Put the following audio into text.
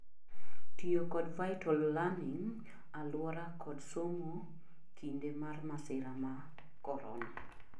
tiyo kod vital learning aluora kod somo kinde mar masira ma korona